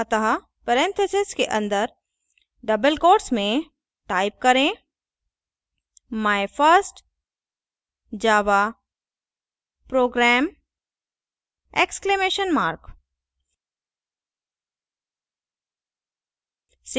अतः parentheses के अंदर double quotes में type करें my first java program exclamation mark